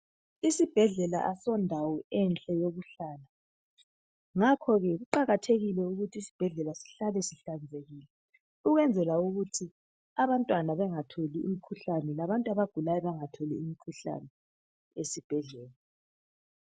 Isibhedlela asondawo enhle yokuhlala. Ngakho ke kuqakathekile ukuthi isibhedlela sihlale sihlanzekile, ukwenzela ukuthi abantwana bengatholi imikhuhlane, labantu abagulayo bengatholi imikhuhlane esibhedlela.